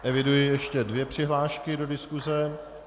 Eviduji ještě dvě přihlášky do diskuse.